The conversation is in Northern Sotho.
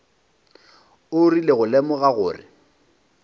o rile go lemoga gore